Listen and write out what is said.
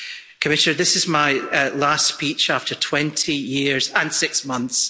Commissioner, this is my last speech after 20 years and six months